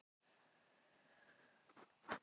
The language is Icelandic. Þau sátu á bekk og brostu til hans.